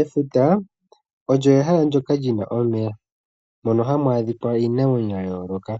Efuta olyo ehala ndyoka lyi na omeya mono hamu adhika iinamwenyo ya yooloka.